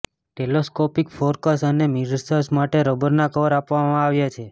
telescopic ફોકર્સ અને mirrors માટે રબરના કવર આપવામાં આવ્યા છે